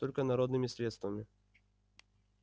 только народными средствами